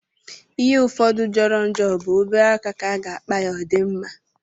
Ihe ụfọdụ jọrọ njọ bụ obere aka ka a ga-akpa ya o di mma.